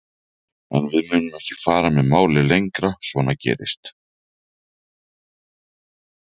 En við munum ekki fara með málið lengra, svona gerist